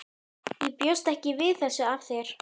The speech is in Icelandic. Ég bjóst ekki við þessu af þér.